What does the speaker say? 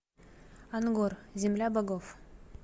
ангор земля богов